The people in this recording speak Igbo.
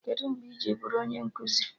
Kedụ mgbe i ji bụrụ onye nkụzi?